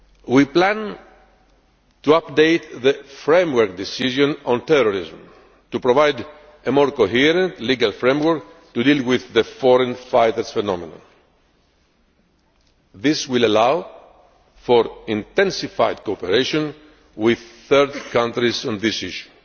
We plan to update the Framework Decision on Terrorism to provide a more coherent legal framework to deal with the foreign fighters phenomenon. This will allow for intensified cooperation with third countries on this issue.